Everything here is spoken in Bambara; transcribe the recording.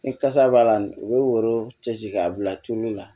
Ni kasa b'a la u bɛ woro cɛ ci k'a bila tulo la